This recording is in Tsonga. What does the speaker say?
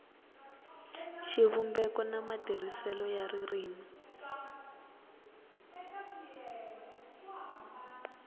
xivumbeko na matirhiselo ya ririmi